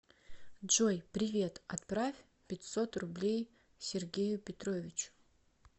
джой привет отправь пятьсот рублей сергею петровичу